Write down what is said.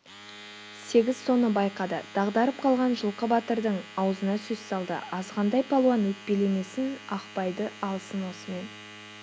сегіз соны байқады дағдарып қалған жылқы батырдың аузына сөз салды азғантай палуан өкпелемесін ақпайды алсын осымен